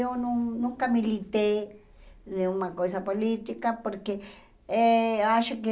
Eu não nunca militei em alguma coisa política, porque eh acho que